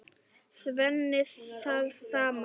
Svenni það sama.